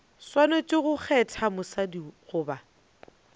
swanetše go kgetha mosadi goba